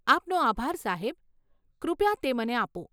આપનો આભાર, સાહેબ, કૃપયા તે મને આપો.